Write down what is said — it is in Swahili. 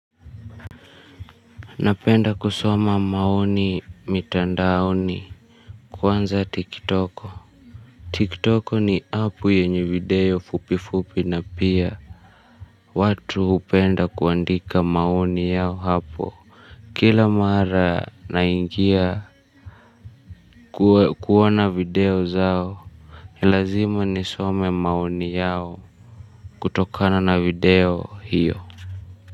Napenda kusoma maoni mitandaoni kwanza tikitoko. Tikitoko ni app yenye video fupi fupi na pia watu hupenda kuandika maoni yao hapo. Kila mara naingia kuona video zao, ni lazima nisome maoni yao kutokana na video hiyo.